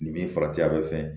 Nin min farati a bɛ fɛ